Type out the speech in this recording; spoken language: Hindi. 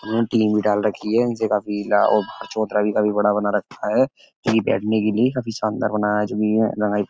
इन्होने टीन भी डाल रखी है। इनसे काफी लाभ और चौतरा भी काफी बड़ा बना रखा है। जो कि बैठने के लिए काफी शानदार बनाया है। ज़मीन में।